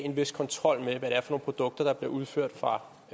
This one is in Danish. en vis kontrol med hvad det er for nogle produkter der bliver udført fra